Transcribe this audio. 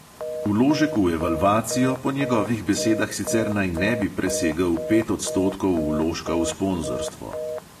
Vložek v evalvacijo po njegovih besedah sicer naj ne bi presegel pet odstotkov vložka v sponzorstvo.